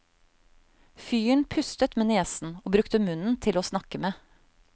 Fyren pustet med nesen og brukte munnen til åsnakke med.